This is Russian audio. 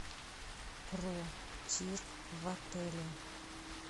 про тир в отеле